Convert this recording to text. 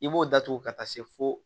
I b'o datugu ka taa se fo